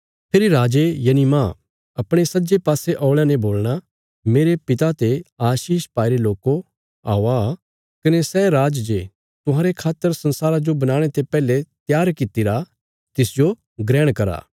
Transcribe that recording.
फेरी राजे यनि मांह अपणे सज्जे पासे औल़यां ने बोलणा मेरे पिता ते आशीष पाईरे लोको औआ कने सै राज जे तुहांरे खातर संसारा जो बनाणे ते पैहले त्यार कित्तिरा तिसजो ग्रहण करा